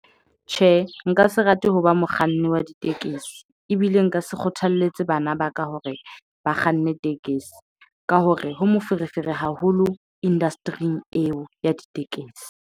Tjhe, nka se rate ho ba mokganni wa ditekesi ebile nka se kgothalletse bana ba ka hore ba kganne tekesi ka hore ho moferefere haholo industry-ing eo ya ditekesi.